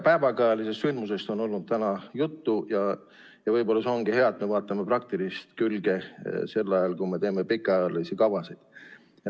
Päevakajalisest sündmusest on olnud täna juttu ja võib-olla see ongi hea, et me vaatame praktilist külge sel ajal, kui me teeme pikaajalisi kavasid.